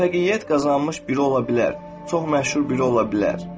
Müvəffəqiyyət qazanmış biri ola bilər, çox məşhur biri ola bilər.